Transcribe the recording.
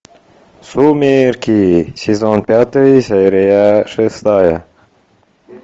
сумерки сезон пятый серия шестая